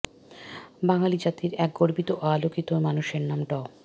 বাঙালি জাতির এক গর্বিত ও আলোকিত মানুষের নাম ড